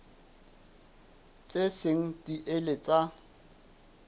tse seng di ile tsa